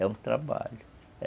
É um trabalho.